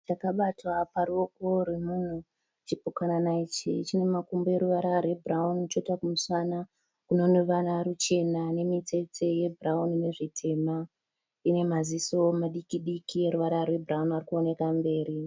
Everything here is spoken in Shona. Chipukanana chakabatwa paruoko rwemunhu. Chipukanana ichi chine makumbo eruvara rwebhurawuni choita kumusana kune ruvara ruchena nemitsetse yebhurawuni nezvitema. Ine maziso madiki diki eruvara rwebhurawuni ari kuonekwa mberi.